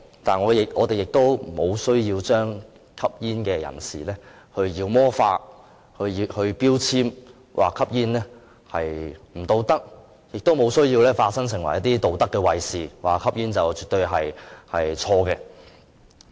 但是，我們不需要將吸煙人士妖魔化、標籤，說吸煙不道德，亦沒有需要化身成為道德衞士，說吸煙絕對不正確。